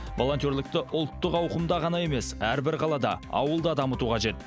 волонтерлікті ұлттық ауқымда ғана емес әрбір қалада ауылда дамыту қажет